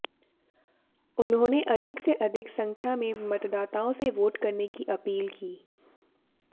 उन्होंने अधिक से अधिक संख्या में मतदाताओं से वोट करने की अपील की